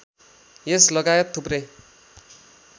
यस लगायत थुप्रै